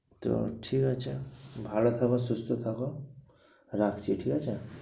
তো ঠিক আছে ভালো থাকো সুস্থ থাকো রাখছি ঠিক আছে